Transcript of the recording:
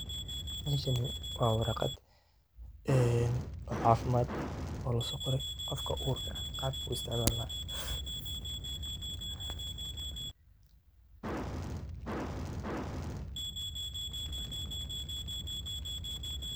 Meeshani waa waraqad caafimad ah oo loosoqoray qofka uurka ah qaabku u isticmalanay .